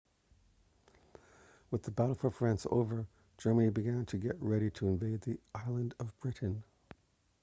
with the battle for france over germany began to get ready to invade the island of britain